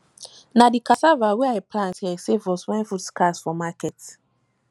na di cassava wey i plant here save us wen food scarce for market